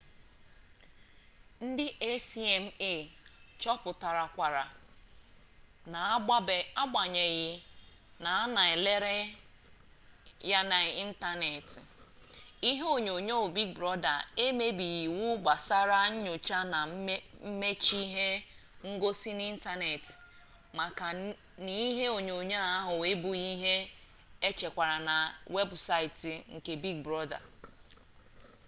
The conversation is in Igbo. ndi acma chọpụtarakwara na n'agbanyeghị na a na elere ya n'ịntaneetị ihe onyonyoo big brọda emebighị iwu gbasara nyocha na mmachi ihe ngosi n'ịntaneetị maka na ihe onyonyoo ahụ abụghị ihe echekwara na webụsaịtị nke big brọda